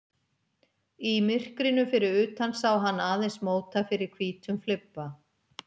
Í myrkrinu fyrir utan sá hann aðeins móta fyrir hvítum flibba.